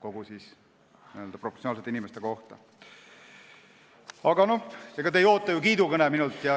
Aga ega te ei oota ju minult kiidukõnet.